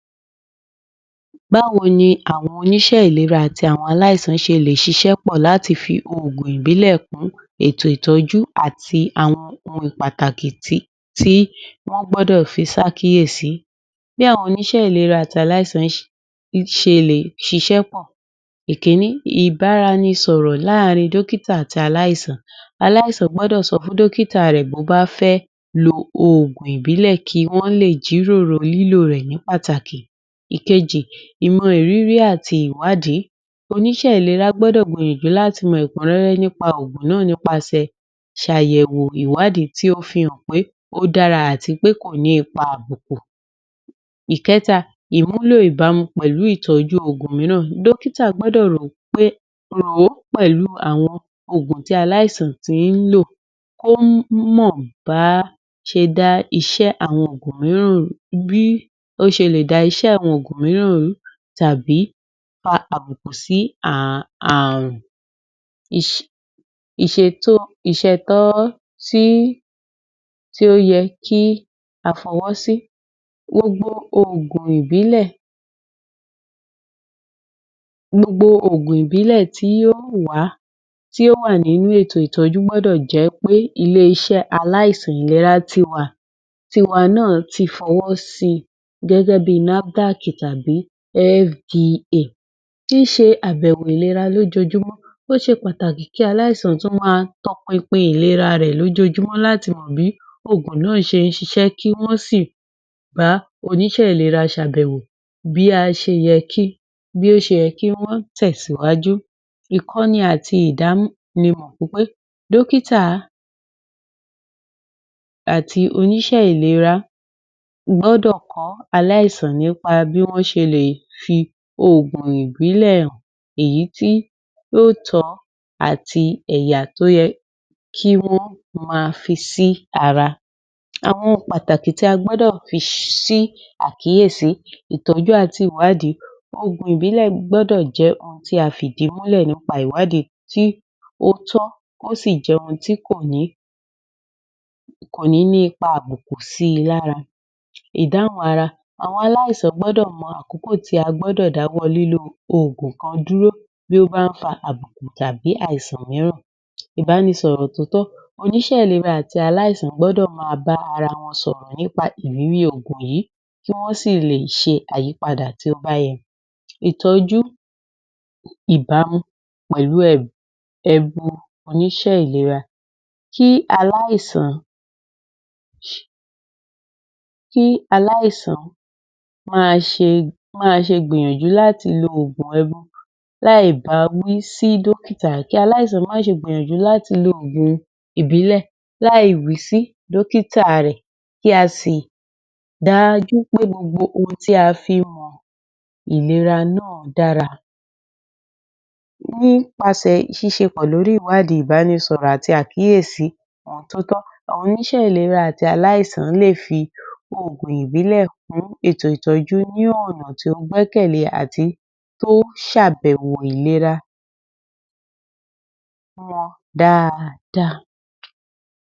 Báwo ni àwọn oní iṣẹ́ ìlera àti àwọn àìsàn ṣe lè ṣiṣẹ́ pọ̀ láti fi òògùn ìbílè kún ètò ìtọjú àti ohun pàtàkì tí wọ́n gbọdọ̀ fi sí àkíyèsí bí àwọn oníṣé ìlera àti àìsàn ṣe lè ṣiṣé pọ̀ èkíní ìbára ẹni sọ̀rọ̀ láàrin dókítà àti àìsàn àìsàn gbọdọ̀ sọ fún dókítà reè bọ́ bá fé lo ògùn ìbílẹ̀ kí wọn leè jíròrò lílọ̀ reè ní pàtàkì ìkejì ìmọ̀ ìrírí àti ìwádìí onísé ìlera gbọ́dọ̀ mọ̀ ìdí láti mọ ẹ̀kú réré nípa ògùn náà nípasẹ̀ àyẹ̀wò ìwádìí tí ó fíhàn pé ódára àti pé kòní ipá àbò ìkẹta ìmúlò ìbámu pẹ̀lú ìtọjú ògùn míràn dókítà gbọ́dọ̀ rán wón pẹ̀lú ògùn tí àìsàn tí ílò kó mọ́ báà ṣè dá isé àwọn ògùn míràn rùú bí ó ṣelè dá isé àwọn mìíràn rùú tàbí pa àbùkù sí ààrùn ìṣ ìṣẹ̀tọ̀ ìșẹ̀tọ́ sí tí ó yẹ kí á fọwọ́sí gbogbo ọògùn ìbílẹ̀ gbogbo ògùn ìbílẹ̀ tí ó wàá tí ó wà nínú ètò ìtọjú gbọ́dọ̀ jẹ́ pé ilé iṣé a àìsàn ìlera ti wà ti wà náà ti fọwọ́ sí gẹ́gẹ́ bíi NAFDACKÍ tàbí FDA tí ń ṣe àbẹwò ìlera lójojúmọ́ ọ́sẹ pàtàkì kí aláìsàn tún máa tọ pinpin ìlera rẹ̀ lójojúmọ́ láti mọ bí ògùn náà ṣe ń ṣiṣẹ́ kí won ó sì bá oníṣe ìlera sàbẹ̀wò bí a se yẹkí wọn tẹ̀síwájú ìkọ́ni àti ìdánimọ̀ pípẹ́ dókítà àti oníṣé ìlera gbọdọ̀ kọ̀ aláìsàn nípa bí wọn ṣe lè fi òògùn ìbílè hàn èyí tí yóò tọ́ àti èyà tí ó yẹ kí wón máa fi sí ara àwọn ohùn pàtàkì tí a gbọdọ̀ fi sí àkíyèsí ìtọjú àti ìwádìí òògùn ìbílẹ̀ gbọdọ̀ jẹ́ ohun tí a fi ìdí múlẹ̀ nípa ìwádìí tí ó tọ́ ó s̀ jẹ́ ohun tí kò ní ní ipa àbùkù síi ní ara ìdáhùn ara àwọn àìsàn gbọdọ̀ mọ àkókò tí a gbọdọ̀ dáwọ́ lílo ògùn kan dúró bí ó bání wà àbùkù tàbí àìsàn ríràn ìbá ni sọ̀rọ̀ tòọ́tọ́ oníṣé ìlera àti aláìsàn gbọdọ̀ máa bá ara wọn sọ̀rọ̀ nípa ìrírí òògùn yì kí wọn sí lè ṣe ayípadà tí ó bá yẹ ìtọjú ìbámu pẹlú ẹbu oníṣé ìlera kí aláìsàn kí aláìsàn máa ṣe gbìyànjú láti lo oògùn ebu láì bá wí fún dókítà. Kí aláìsàn máṣe gbìyànjú láti lo oògùn ìbílẹ̀ láì wí sí dókítà ree kí a sì rí dájú pé ohun tí a fí mò ìlera náà dára nípa ṣẹ ṣíṣẹ sépọ́ lórí ìwádìí ìbá ni sọ̀rọ̀ àti àkíyèsí ohun tó tọ àwọn oníṣe ìlera àti aláìsàn lè fi òògùn ìbílè fún ètò ìtọjú ní ònà tó gbẹ́kẹ̀lé àti tí ọ ùn sàbẹ̀wò ìlera wọn dáadáa.